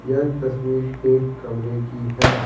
यह तस्वीर एक कमरे की है।